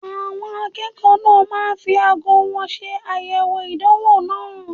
Àwọn akẹ́kọ̀ọ́ náà máa ń fi aago wọn ṣe àyẹ̀wò ìdánwò náà.